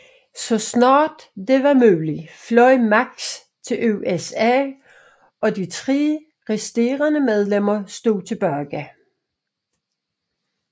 Så snart det var muligt fløj Max til USA og de tre resterende medlemmer stod tilbage